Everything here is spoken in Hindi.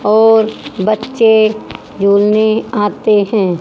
और बच्चे झूलने आते हैं।